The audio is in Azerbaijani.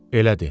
Elədi.